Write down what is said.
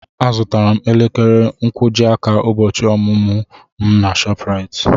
Azụtara m elekere nkwojiaka ụbọchị ọmụmụ m na ShopRite.